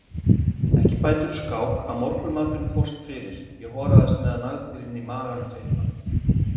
Ekki bætir úr skák að morgunmaturinn fórst fyrir, ég horast meðan nagdýrin í maganum fitna.